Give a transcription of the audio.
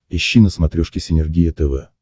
ищи на смотрешке синергия тв